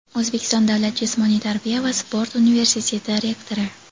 O‘zbekiston davlat jismoniy tarbiya va sport universiteti rektori.